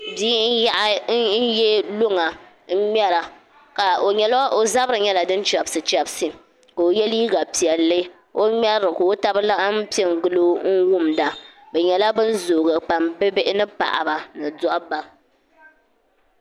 Bia n nyaɣa luŋ n ŋmɛri o zabiri nyɛla din chɛbisi chɛbisi ka o yɛ liiga piɛlli ka o ŋmɛrili ka o tabi laŋam piɛ n gilo n wumda bi nyɛla bin zoogi pam bi yirina bihi ni paɣaba ni dabba